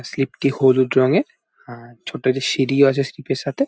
Slip -টি হলুদ রঙের। আর ছোট একটি সিঁড়িও আছে স্লিপ -এর সাথে।